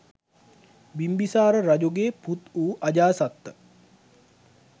බිම්බිසාර රජුගේ පුත්වූ අජාසත්ත